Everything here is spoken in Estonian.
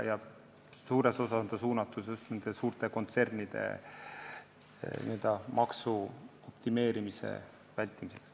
Suures osas on ta mõeldud just suurte kontsernide n-ö maksuoptimeerimiste vältimiseks.